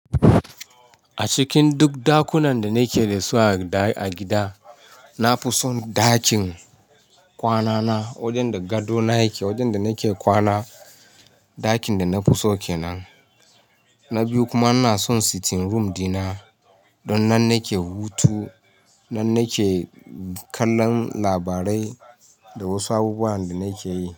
A cikin duk dakunan da ni ke da su a gida, na fi son ɗakin kwanana wajen da gadona yake, wajen da ni ke kwana, ɗakin da na fi so kenan. Na biyu kuma ina son sitting room dina don nan nake hutu, nan nake kallon labarai da wasu abubuwan da ni ke yi.